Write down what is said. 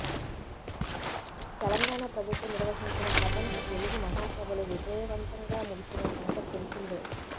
తెలంగాణ ప్రభుత్వం నిర్వహించిన ప్రపంచ తెలుగు మహాసభలు వియజయవంతంగా ముగిసిన సంగతి తెలిసిందే